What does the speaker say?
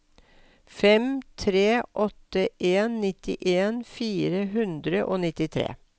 fem tre åtte en nittien fire hundre og nittitre